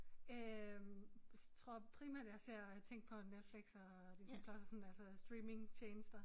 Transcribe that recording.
Øh tror primært jeg ser ting på Netflix og Disney+ og sådan altså streamingtjenester